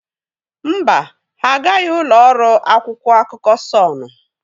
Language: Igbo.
Mba, ha agaghị ụlọ ọrụ akwụkwọ akụkọ Sọnụ.